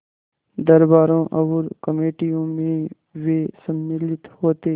दरबारों और कमेटियों में वे सम्मिलित होते